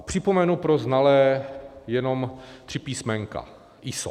A připomenu pro znalé jenom tři písmenka ISO.